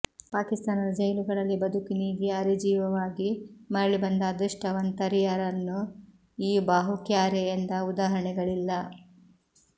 ಪಾಕಿಸ್ತಾನದ ಜೈಲುಗಳಲ್ಲಿ ಬದುಕು ನೀಗಿ ಅರೆಜೀವವಾಗಿ ಮರಳಿ ಬಂದ ಅದಷ್ಟ ವಂತರ್ಯಾ ರನ್ನೂ ಈ ಬಾಹು ಕ್ಯಾರೇ ಎಂದ ಉದಾಹರಣೆಗಳಿಲ್ಲ